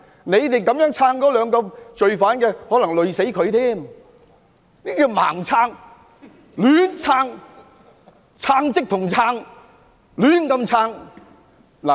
你們支持這兩名罪犯，可能會連累他們，這是"盲撐"、"亂撐"，撐即同撐，胡亂支持。